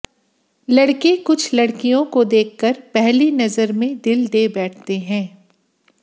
लड़के कुछ लड़कियों को देखकर पहली नजर में दिल दे बैठते हैं